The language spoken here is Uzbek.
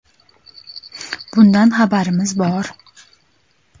Bundan xabarimiz bor.